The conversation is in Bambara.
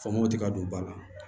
Faamamuw ti ka don ba la